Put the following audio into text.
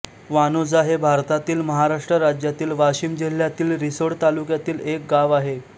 वाणोजा हे भारतातील महाराष्ट्र राज्यातील वाशिम जिल्ह्यातील रिसोड तालुक्यातील एक गाव आहे